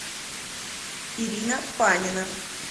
ирина панина